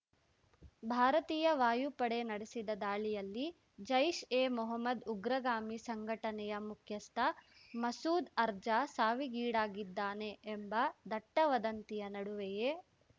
ಭಾರತೀಯ ವಾಯುಪಡೆ ನಡೆಸಿದ ದಾಳಿಯಲ್ಲಿ ಜೈಷ್‌ ಎ ಮೊಹಮ್ಮದ್‌ ಉಗ್ರಗಾಮಿ ಸಂಘಟನೆಯ ಮುಖ್ಯಸ್ಥ ಮಸೂದ್‌ ಅರ್ಜ ಸಾವಿಗೀಡಾಗಿದ್ದಾನೆ ಎಂಬ ದಟ್ಟವದಂತಿಯ ನಡುವೆಯೇ